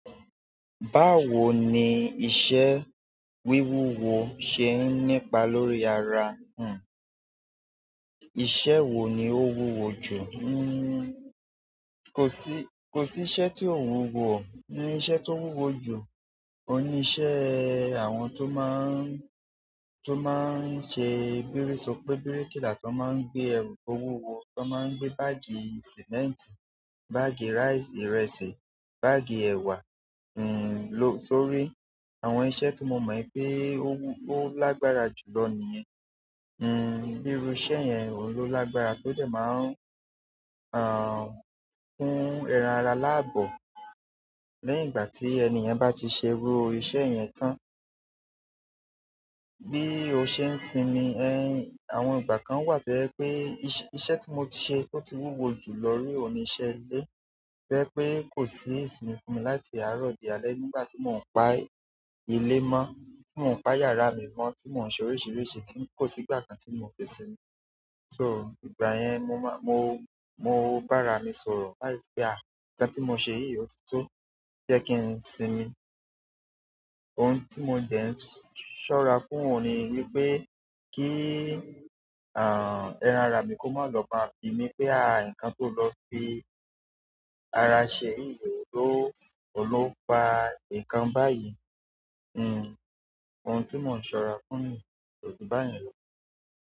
Báwo ni iṣẹ́ wíwúwo ṣe ń nípa lórí ara? Ìṣe wo ni ó wúwo jù? Kò sí iṣẹ́ tí ò wúwo. Ni iṣẹ́ tó wúwo jù, ohun níṣẹ́ àwọn tó máa ń ṣe bírìsopé, bíríkìlà tó máa ń gbé ẹrù tó wúwo, tó máa ń gbé báàgì sìmẹ́ǹtì, báàgì ìrẹsì, báàgì ẹwa sórí àwọn iṣẹ́ tí mo mọ̀ ipé ó lágbára jùlọ nìyẹn. Bírú iṣẹ́ yẹn ohun ló lágbára tó dẹ̀ máa kún ẹran ara láàbọ̀. Lẹ́yìn ìgbà tí ẹniyàn bá ti ṣe irú iṣẹ́ yẹn tán. Bí ó ṣe ń sinmi, àwọn ìgbà kan wà tó jẹ́ pé iṣẹ́ tí mo ti ṣe ó ti wúwo jùló rí ohun ni ìṣẹ́ ilé. To jẹ́ pé kò sí ìsinmi fún mi láti àárọ̀ di alẹ́ nígbà tí mò ń pa ilé mọ́, tí mò ń pa yàrá mi mọ́, tí mò ń ṣe oríṣìíríṣìí tí kò sí ìgbà kan tí mò fi sinmi. So ìgbà yẹn mo bàrà mi sọ̀rọ̀ pé, "nǹkan tí mò sẹ yìí ò títọ́", jẹ́ kí n sinmi. Ohun tí mò ń dẹ̀ ń ṣọ́ra fún ohun ni wípé kí ẹran ara mi kó má lọ bá bíi mí pé, "nǹkan tó lọ fi ara ṣe yìí, ohun ló faa nǹkan báyìí". Ohun tii mo ṣọra fún o ju bayen lọ.